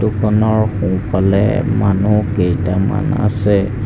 ফটোখনৰ সোঁফালে মানুহ কেইটামান আছে।